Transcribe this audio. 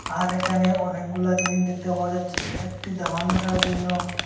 আর এখানে অনেকগুলা জিনিস দেখতে পাওয়া যাচ্ছে একটি দামান বসানোর জন্য।